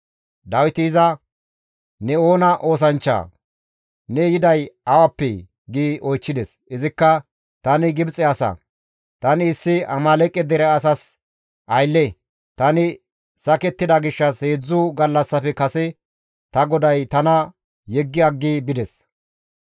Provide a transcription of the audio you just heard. Dawiti iza, «Ne oona oosanchchaa? Ne yiday awappee?» gi oychchides; izikka, «Tani Gibxe asa; tani issi Amaaleeqe dere asas aylle; tani sakettida gishshas heedzdzu gallassafe kase ta goday tana yeggi aggi bides.